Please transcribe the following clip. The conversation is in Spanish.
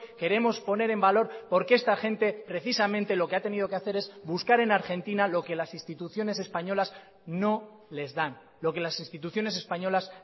queremos poner en valor porque esta gente precisamente lo que ha tenido que hacer es buscar en argentina lo que las instituciones españoles no les dan lo que las instituciones españolas